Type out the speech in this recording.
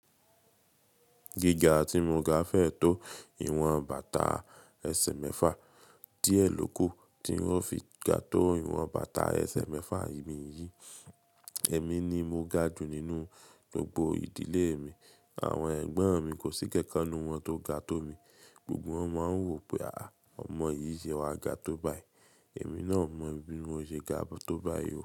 Gíga tí mo ga fẹ́ tó ìwọ̀n bàtà ẹsẹ̀ mẹ́fà. Díẹ̀ ló kù tí ń ó fi ga tó ìwọ̀n bàtà ẹsẹ̀ mẹ́fà ìmí yìí. Emí ni mo ga jù nínú gbogbo ìdílé mi. Àwọn ẹ̀gbọ́n mi kò sí kankan nínú wọn tó ga tó mi. Gbogbo wọn máa ń wò pé, à, ọmọ yìí ṣe wa ga tó báyi. Emí náà o mọ bí mo ṣe ga tó báyi.